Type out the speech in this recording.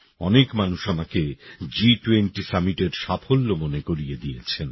অনেক মানুষ আমাকে জিটুয়েন্টি সামিটের সাফল্য মনে করিয়ে দিয়েছেন